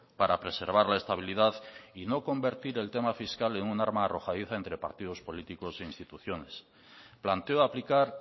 para preservar la estabilidad y no convertir el tema fiscal en un arma arrojadiza entre partidos políticos e instituciones planteo aplicar